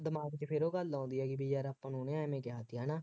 ਦਿਮਾਗ ਚ ਫੇਰ ਉਹ ਗੱਲ ਆਉਂਦੀ ਹੈ ਬਈ ਨਹੀਂ ਯਾਰ ਆਪਾਂ ਨੂੰ ਉਹਨੇ ਐਵੇਂ ਕਿਹਾ ਸੀ ਹੈ ਨਾ,